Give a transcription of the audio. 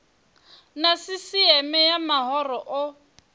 na sisieme ya mahoro o